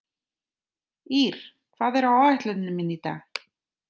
Ír, hvað er á áætluninni minni í dag?